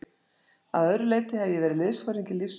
Að öðru leyti hef ég verið liðsforingi lífs míns.